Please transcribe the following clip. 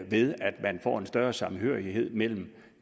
ved at man får en større samhørighed mellem